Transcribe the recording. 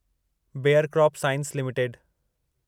bear crop science limited